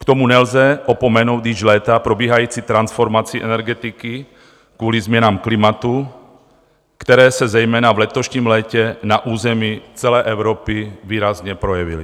K tomu nelze opomenout již léta probíhající transformaci energetiky kvůli změnám klimatu, které se zejména v letošním létě na území celé Evropy výrazně projevily.